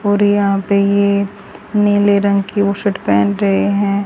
और यहां पे ये नीले रंग की वो शर्ट पहन रहे हैं।